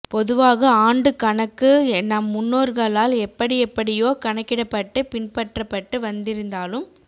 பொதுவாக ஆண்டுக் கணக்கு நம் முன்னோர்களால் எப்படி எப்படியோ கணக்கிடப்பட்டு பின்பற்றப்பட்டு வந்திருந்தாலும்